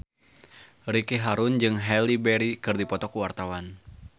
Ricky Harun jeung Halle Berry keur dipoto ku wartawan